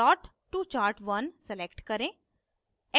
plot to chart1 select करें